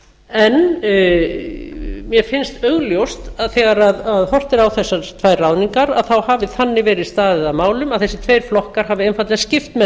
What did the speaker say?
en mér finnst augljóst að þegar horft er á þessar tvær ráðningar þá hafi þannig verið staðið að málum að þessir tveir flokkar hafi einfaldlega skipt með